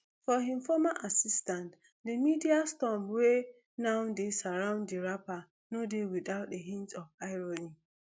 for im former assistant the media storm wey now dey surround di rapper no dey without a hint of irony